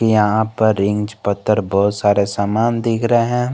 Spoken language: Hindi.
यहां पर रिंच पत्थर बहुत सारे सामान दिख रहे हैं।